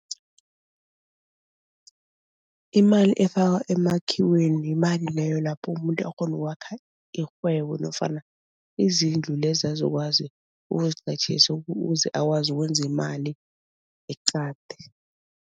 Imali efaka emakhiweni yimali leyo lapho umuntu akghona ukwakha irhwebo nofana izindlu lezi azokwazi ukuziqatjhisa uze akwazi ukwenza imali eqadi.